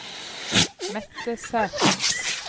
Mette Sæther